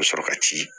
Ka sɔrɔ ka ci